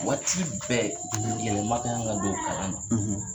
Waati bɛɛ yɛlɛma kan ka don kalan na